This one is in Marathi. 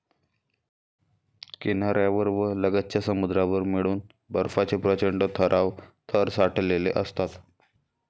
किनाऱ्यावर व लगतच्या समुद्रावर मिळून बर्फाचे प्रचंड थरांवर थर साठलेले असतात.